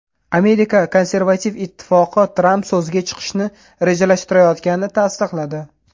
Amerika Konservativ ittifoqi Tramp so‘zga chiqishni rejalashtirayotganini tasdiqladi.